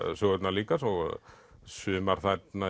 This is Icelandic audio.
sögurnar líka sumar þarna